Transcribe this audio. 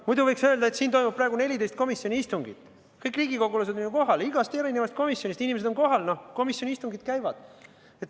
Muidu võiks öelda, et siin toimub praegu 14 komisjoni istungit: kõik riigikogulased on kohal, igast komisjonist on inimesed kohal, komisjoni istungid käivad.